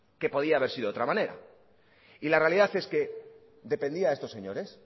que podía haber sido de otra manera y la realidad es que dependía de estos señores